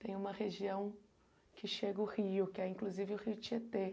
Tem uma região que chega o Rio, que é inclusive o Rio Tietê.